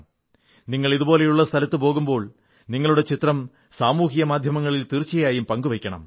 നിങ്ങൾ ഇതുപോലുള്ള സ്ഥലത്ത് പോകുമ്പോൾ നിങ്ങളുടെ ചിത്രം സാമൂഹിക മാധ്യമത്തിൽ തീർച്ചയായും പങ്കു വയ്ക്കണം